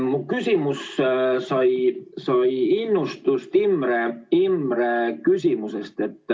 Mu küsimus sai innustust Imre küsimusest.